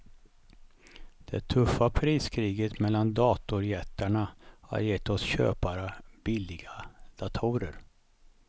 Det tuffa priskriget mellan datorjättarna har gett oss köpare billiga datorer.